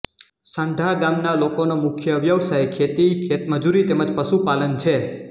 સાંઢા ગામના લોકોનો મુખ્ય વ્યવસાય ખેતી ખેતમજૂરી તેમ જ પશુપાલન છે